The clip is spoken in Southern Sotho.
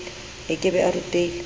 e ke be e rutile